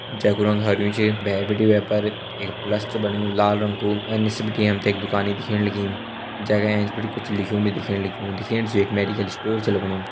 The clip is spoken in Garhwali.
जैकु रंग हरयूं च भैर बिटि वे पर एक प्लस च बण्यु लाल रंग कू अर निस बिटि हम ते एक दुकानि दिखेण लगीं जैका एंच बिटि कुछ लिख्युं भी दिखेण लग्युं दिखेण से यू एक मेडिकल स्टोर छ लगणु।